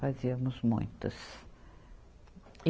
Fazíamos muitos. e